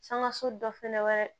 Sangaso dɔ fɛnɛ wɛrɛ